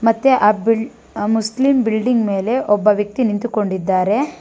ಮತ್ತೆ ಅದ್ ಬಿಲ್ಡಿಂಗ್ ಮುಸ್ಲಿಂ ಬಿಲ್ಡಿಂಗ್ ಮೇಲೆ ಒಬ್ಬ ವ್ಯಕ್ತಿ ನಿಂತುಕೊಂಡಿದ್ದಾರೆ.